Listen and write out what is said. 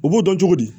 U b'o dɔn cogo di